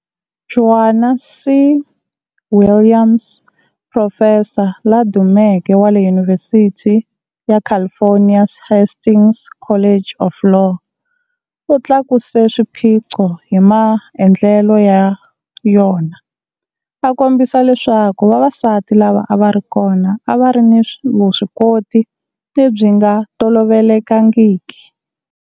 Joan C. Williams, profesa la dumeke wa le Yunivhesiti ya California's Hastings College of Law, u tlakuse swiphiqo hi maendlelo ya yona, a kombisa leswaku vavasati lava a va ri kona a va ri ni vuswikoti lebyi nga tolovelekangiki.